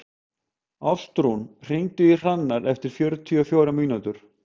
Ástrún, hringdu í Hrannar eftir fjörutíu og fjórar mínútur.